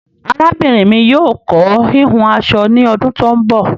Àràbínrin mi yóò kọ̀ hìhùn aṣọ ni ọdún tó ń bọ